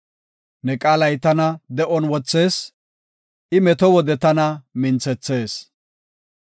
Ne qaalay tana de7on wothees; I meto wode tana minthethees.